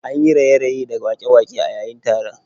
An yi raye-raye da waƙe-waƙe a yayin taron